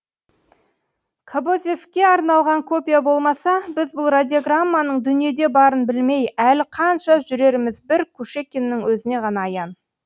кобозевке арналған копия болмаса біз бұл радиограмманың дүниеде барын білмей әлі қанша жүреріміз бір кушекиннің өзіне ғана аян